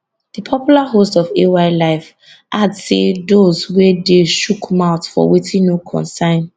di popular host of ay live add say doz wey dey shook mouth for wetin no concern